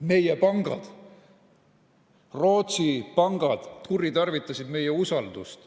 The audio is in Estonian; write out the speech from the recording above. Meie pangad, Rootsi pangad, kuritarvitasid meie usaldust.